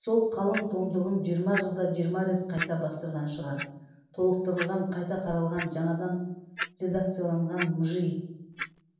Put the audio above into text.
сол қалың томдығын жиырма жылда жиырма рет қайта бастырған шығар толықтырылған қайта қаралған жаңадан редакцияланған мыжи